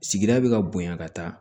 Sigida bɛ ka bonya ka taa